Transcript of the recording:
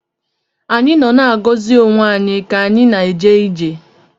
Anyị nọ na-agọzi onwe anyị ka anyị na-eje ije